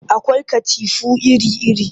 Akwai katifu iri-iri